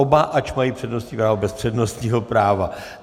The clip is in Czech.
Oba, ač mají přednostní právo, bez přednostního práva.